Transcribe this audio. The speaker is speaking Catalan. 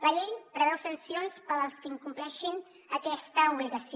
la llei preveu sancions per als que incompleixin aquesta obligació